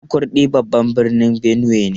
Makurdi babban birnin Benue ne.